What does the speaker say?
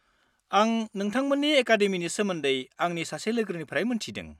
आं नोंथांमोननि एकाडेमिनि सोमोन्दै आंनि सासे लोगोनिफ्राय मोन्थिदों।